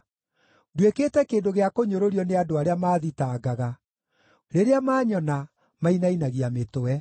Nduĩkĩte kĩndũ gĩa kũnyũrũrio nĩ andũ arĩa maathitangaga; rĩrĩa maanyona, mainainagia mĩtwe.